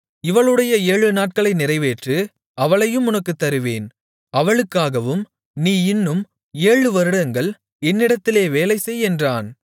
இவளுடைய ஏழு நாட்களை நிறைவேற்று அவளையும் உனக்குத் தருவேன் அவளுக்காகவும் நீ இன்னும் ஏழு வருடங்கள் என்னிடத்திலே வேலைசெய் என்றான்